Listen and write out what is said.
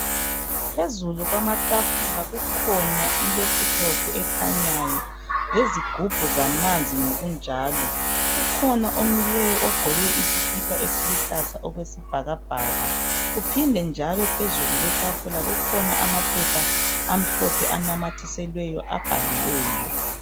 Phezulu kwamatafula kukhona ilaptop ekhanyayo. Lezigubhu zamanzi ngokunjalo. Kukhona omileyo, ogqoke isikipa esiluhlaza okwesibhakabhaka. Kuphinde njalo phezu kwetafula, kukhona amaphepha amhlophe, abhaliweyo.